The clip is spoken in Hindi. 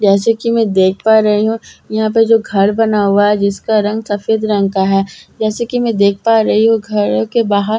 जैसे कि मैं देख पा रही हूं यहां पे जो घर बना हुआ है जिसका रंग सफेद रंग का है जैसे कि मैं देख पा रही हूं घर के बाहर --